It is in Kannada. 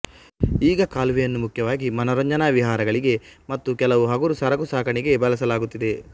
ಈಗ ಕಾಲುವೆಯನ್ನು ಮುಖ್ಯವಾಗಿ ಮನೋರಂಜನಾ ವಿಹಾರಗಳಿಗೆ ಮತ್ತು ಕೆಲವು ಹಗುರು ಸರಕುಸಾಗಣೆಗೆ ಬಳಸಲಾಗುತ್ತಿದೆ